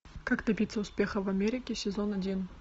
как добиться успеха в америке сезон один